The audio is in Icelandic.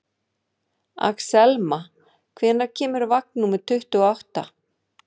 Axelma, hvenær kemur vagn númer tuttugu og átta?